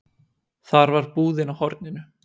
Þar var búðin á horninu.